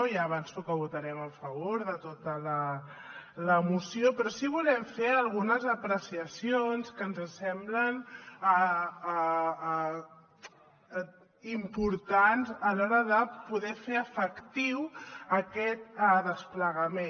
ja avanço que votarem a favor de tota la moció però sí que volem fer algunes apreciacions que ens semblen importants a l’hora de poder fer efectiu aquest desplegament